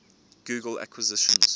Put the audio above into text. google acquisitions